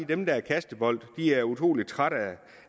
dem der er kastebolde er utrolig trætte